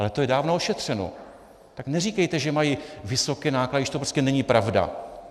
Ale to je dávno ošetřeno, tak neříkejte, že mají vysoké náklady, když to prostě není pravda.